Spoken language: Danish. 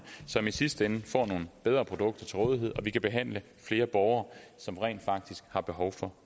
som i sidste ende får nogle bedre produkter stillet til rådighed og vi kan behandle flere borgere som rent faktisk har behov for